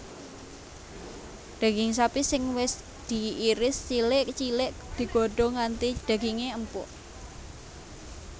Daging sapi sing wis diiris cilik cilik digodhong nganti daginge empuk